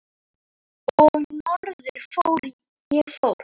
Og norður ég fór.